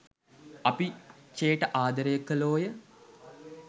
අපි චේ ට ආදරය කලෝය.